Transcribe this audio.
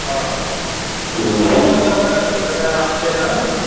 ਹਾਂ ਉਹ ਮੁੜਕੇ ਉਹਨਾਂ ਦਾ ਲੈਂਟਰ ਪੀਯਾ ਜਿੱਦਣ